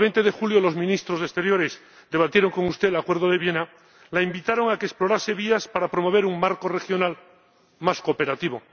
Cuando el 20 de julio los ministros de Asuntos Exteriores debatieron con usted el Acuerdo de Viena la invitaron a que explorase vías para promover un marco regional más cooperativo.